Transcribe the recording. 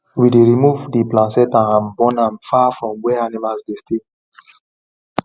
we dey remove the placenta and burn am far from where animals dey stay